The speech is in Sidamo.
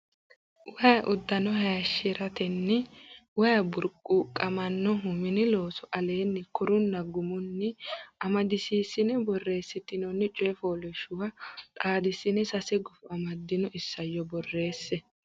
Way uddano hayishshi ratenni Way burquuqamannohu Mini Looso Aleenni korunna gumunni amadisiissine borreessitinoonni coy fooliishshuwa xaadissine sase gufo amaddino isayyo borreesse.